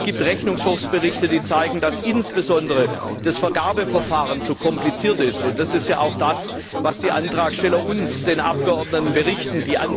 Es gibt Rechnungshofsberichte, die zeigen, dass insbesondere das Vergabeverfahren zu kompliziert ist. Und das ist ja auch das, was die Antragsteller uns den Abgeordneten berichten.